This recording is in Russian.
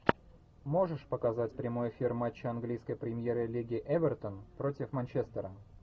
можешь показать прямой эфир матча английской премьер лиги эвертон против манчестера